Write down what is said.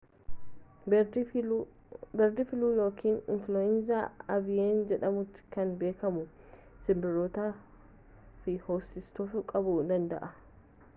beerd filuu yookiin infuluweenza aviyaan jedhamuun kan beekamu sinbirrootaa fi hoosiftoota qabuu danda'a